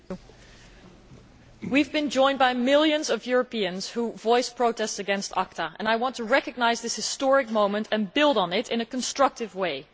Mr President, we have been joined by millions of Europeans who voiced protests against ACTA and I want to recognise this historic movement and build on it in a constructive way.